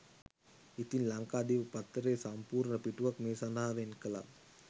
ඉතින් ලංකාදීප පත්තරේ සම්පූර්ණ පිටුවක් මේ සඳහා වෙන්කළා.